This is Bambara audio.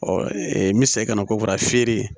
n bɛ segin ka na kokara feere